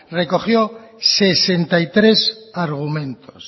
recogió sesenta y tres argumentos